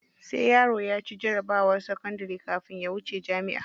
Sai yaro ya ci jarabawar sakandari kafin ya wuce jami'a.